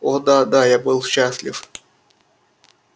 о да да я был счастлив